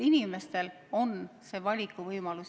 Inimestel peab olema valikuvõimalus.